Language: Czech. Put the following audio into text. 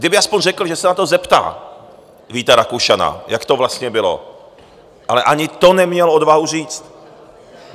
Kdyby alespoň řekl, že se na to zeptá Víta Rakušana, jak to vlastně bylo, ale ani to neměl odvahu říct.